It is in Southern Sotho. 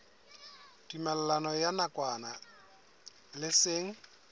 tumellano ya nakwana le seng